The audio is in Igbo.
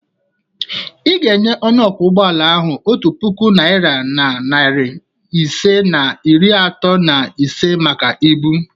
Ị ga-enye onye ọkwọ ụgbọala ahụ otu puku naira na narị isii na iri atọ na ise maka ibu.